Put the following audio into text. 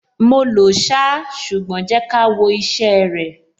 Mo lòó ṣá, ṣùgbọ́n jẹ́ ká wo iṣẹ́ ẹ rẹ̀.